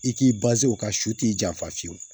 I k'i o ka su t'i janfa fiyewu